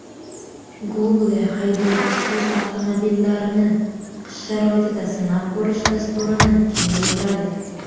Google haydovchisiz avtomobillarini qish sharoitida sinab ko‘rish dasturini kengaytiradi.